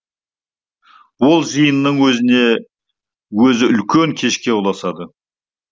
ол жиынның өзі үлкен кешке ұласады